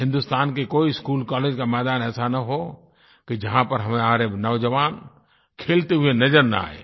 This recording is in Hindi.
हिन्दुस्तान का कोई स्कूल कॉलेज का मैदान ऐसा न हो कि जहाँ पर हमारे नौजवान खेलते हुए नज़र न आयें